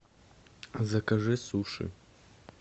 закажи суши